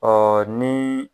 ni.